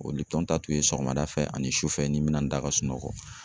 O tun ye sɔgɔmada fɛ ani sufɛ ni minan da ka sunɔgɔ.